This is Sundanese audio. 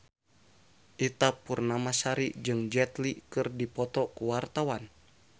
Ita Purnamasari jeung Jet Li keur dipoto ku wartawan